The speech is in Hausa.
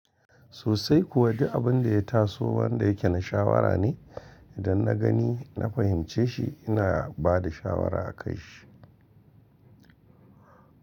Sosai kuwa duk abin da ya taso wanda yake na shawara ne. Idan na gani, na fahimce shi ina bada shawara a kan shi.